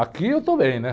Aqui eu estou bem, né?